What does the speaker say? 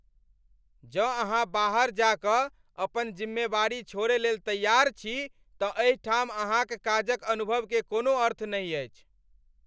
जँ अहाँ बाहर जा कऽ अपन जिम्मेवारी छोड़य लेल तैयार छी तँ एहि ठाम अहाँक काजक अनुभव के कोनो अर्थ नहि अछि।